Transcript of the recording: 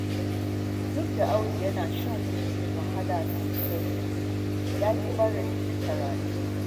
Duk da Audu yana shan wahala sosai, ya ƙi barin karatu.